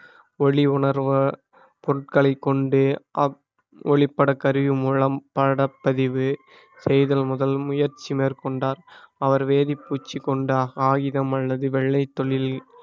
ஒளி உணர்வ பொருட்களைக் கொண்டு அப்~ ஒளிப்படக் கருவி மூலம் படப்பதிவு செய்தல் முதல் முயற்சி மேற்கொண்டார் அவர் வேதிப்பூச்சி கொண்ட ஆயுதம் அல்லது வெள்ளைத் தொழில்